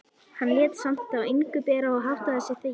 Hann lét samt á engu bera og háttaði sig þegjandi.